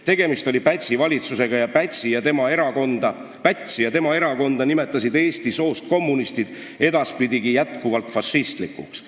"Tegemist oli Pätsi valitsusega ja Pätsi ja tema erakonda nimetasid eesti soost kommunistid edaspidigi jätkuvalt fašistlikuks.